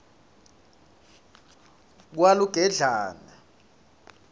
kalugedlane